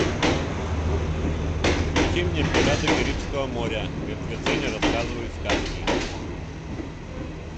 включи мне пираты карибского моря мертвецы не рассказывают сказки